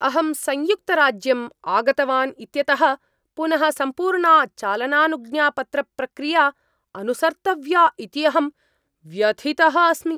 अहं संयुक्तराज्यम् आगतवान् इत्यतः पुनः सम्पूर्णा चालनानुज्ञापत्रप्रक्रिया अनुसर्तव्या इति अहं व्यथितः अस्मि।